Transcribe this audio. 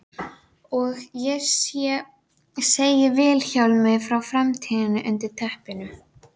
Hún sér að æðarnar á gagnaugunum eru þrútnar.